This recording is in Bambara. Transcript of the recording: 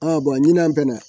ɲinan fɛn fɛn na